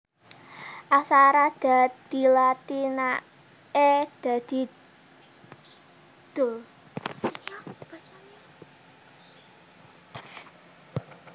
Aksara Da dilatinaké dadi Da